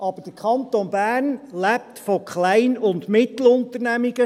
Aber der Kanton Bern lebt von Klein- und Mittelunternehmen.